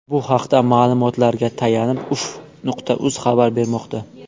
Bu haqda ma’lumotlariga tayanib uff.uz xabar bermoqda.